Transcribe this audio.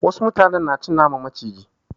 Wasu mutanen na cin naman maciji.